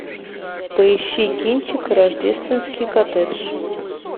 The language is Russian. поищи кинчик рождественский коттедж